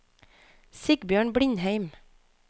Sigbjørn Blindheim